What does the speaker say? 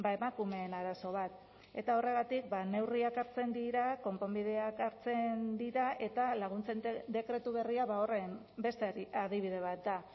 emakumeen arazo bat eta horregatik neurriak hartzen dira konponbideak hartzen dira eta laguntzen dekretu berria horren beste adibide bat da